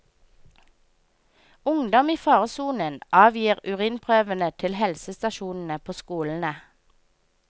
Ungdom i faresonen avgir urinprøvene til helsestasjonene på skolene.